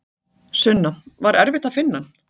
Sunna: Var erfitt að finna hann?